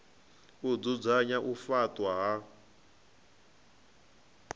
u dzudzanya u faṱwa ha